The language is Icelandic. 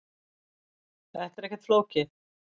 Þetta er ekkert flókið